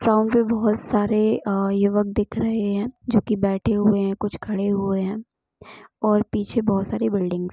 pond पे बहुत सारे युवक दिख रहे हैं जो की बैठे हुए है कुछ खड़े हुए हैं और पीछे बहुत सारी बिल्डिंग्स --